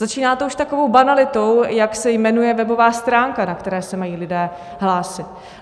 Začíná to už takovou banalitou, jak se jmenuje webová stránka, na které se mají lidé hlásit.